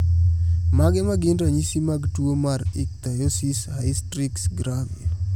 Mage magin ranyisi mag tuo mar Ichthyosis hystrix gravior?